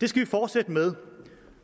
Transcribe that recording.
det skal vi fortsætte med